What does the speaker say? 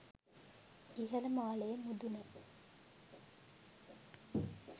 ඉහළ මාලයේ මුදුන